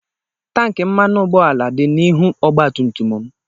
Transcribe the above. Tank mmanụ ụgbọala dị n'ihu ogba tum tum m.